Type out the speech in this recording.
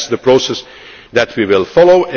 That is the process that we will